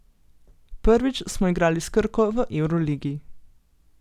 Prvič smo igrali s Krko v evroligi.